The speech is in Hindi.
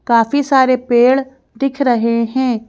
काफी सारे पेड़ दिख रहे हैं।